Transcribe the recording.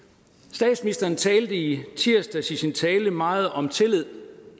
statsministeren talte i tirsdags i sin tale meget om tillid